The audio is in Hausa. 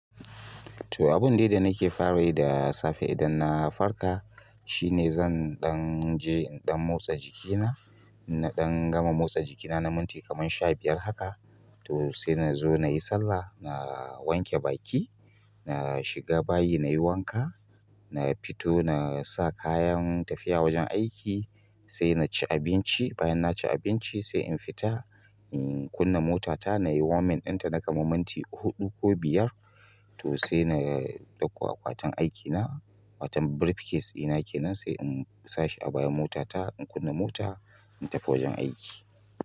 To abun dai da nake fara yi da safe idan na farka shine zan ɗan je in ɗan motsa jikina, in na ɗan gama motsa jikina na minti kaman sha biyar haka. To sai nazo nayi sallah, na wanke baki, na shiga bayi nayi wanka, na fito nasa kayan tafiya wajen aiki, sai naci abinci. Bayan naci abinci sai in fita in kunna motata nayi warming ɗinta na kaman minti huɗu ko biyar. To sai na ɗauko akwatin aikina, waton briefcase ina kenan sai in sa shi a bayan motata in kunna mota in tafi wajen aiki.